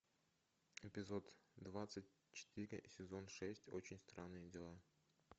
эпизод двадцать четыре сезон шесть очень странные дела